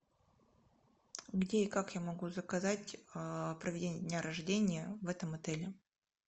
где и как я могу заказать проведение дня рождения в этом отеле